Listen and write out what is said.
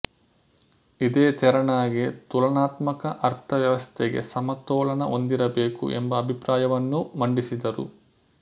ಇದೇ ತೆರನಾಗಿ ತುಲನಾತ್ಮಕ ಅರ್ಥವ್ಯವಸ್ಥೆಗೆ ಸಮತೋಲನ ಹೊಂದಿರಬೇಕು ಎಂಬ ಅಭಿಪ್ರಾಯವನ್ನೂ ಮಂಡಿಸಿದರು